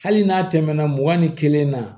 Hali n'a tɛmɛna mugan ni kelen na